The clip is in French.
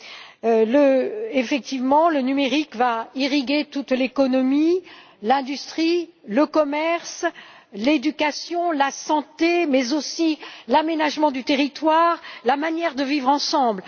En effet, le numérique va irriguer toute l'économie, l'industrie, le commerce, l'éducation, la santé, mais aussi l'aménagement du territoire ou la manière de vivre ensemble.